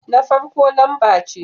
Na farko lamba ce